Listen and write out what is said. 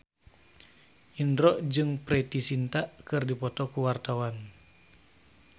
Indro jeung Preity Zinta keur dipoto ku wartawan